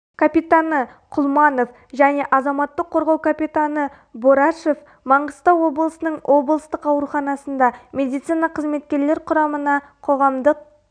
капитаны құлманов және азаматтық қорғау капитаны борашев маңғыстау облысының облысық ауруханасында медицина қызметкерлер құрамына қоғамдық